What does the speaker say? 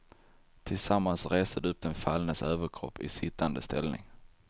Tillsammans reste de upp den fallnes överkropp i sittande ställning.